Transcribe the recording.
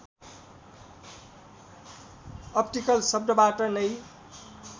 optical शब्दबाट नै